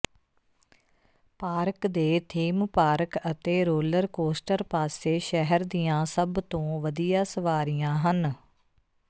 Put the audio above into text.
park ਦੇ theme park ਅਤੇ roller coaster ਪਾਸੇ ਸ਼ਹਿਰ ਦੀਆਂ ਸਭ ਤੋਂ ਵਧੀਆ ਸਵਾਰੀਆਂ ਹਨ